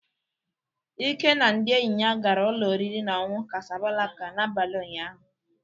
Ike na ndị enyi ya gara ụlọ oriri na ọṅụṅụ kásáblákà n'abalị ụnyaahụ.